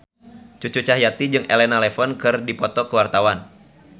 Cucu Cahyati jeung Elena Levon keur dipoto ku wartawan